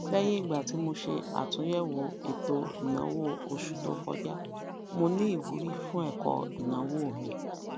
lẹyìn ìgbà tí mo ṣe àtúnyẹwò ètò ìnáwó osù to kọjá mo ni ìwúrí fún ẹkọ ìnáwó mi